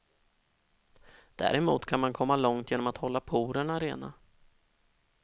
Däremot kan man komma långt genom att hålla porerna rena.